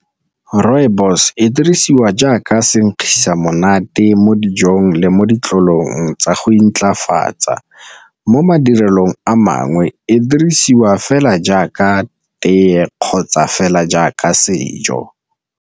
Rooibos e dirisiwa jaaka sekgisa monate mo dijong le mo ditlolong tsa go intlafatsa, mo madirelong a mangwe e dirisiwa fela jaaka tee kgotsa fela jaaka sejo.